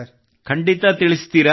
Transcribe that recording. ಖಂಡಿತಾ ತಿಳಿಸುತ್ತೀರಾ